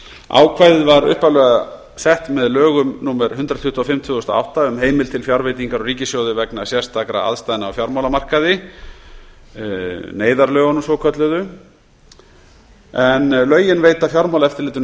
ákvæðið sem upphaflega var sett með lögum númer hundrað tuttugu og fimm tvö þúsund og átta um heimild til fjárveitingar úr ríkissjóði vegna sérstakra aðstæðna á fjármálamarkaði og fleiri neyðarlögunum svokölluðu veitir fjármálaeftirlitinu